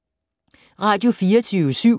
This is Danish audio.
Radio24syv